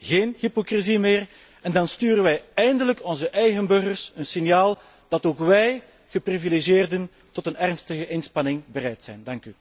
Dan is er geen hypocrisie meer en dan sturen we eindelijk onze eigen burgers een signaal dat ook wij, geprivilegieerden, tot een ernstige inspanning bereid zijn.